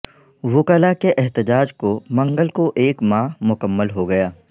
وکلاء کے احتجاج کو منگل کوایک ماہ مکمل ہو گیا